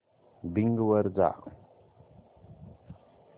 Bing वर जा